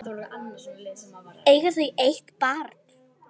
Eiga þau eitt barn.